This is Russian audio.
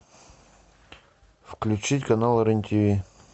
включить канал рен тв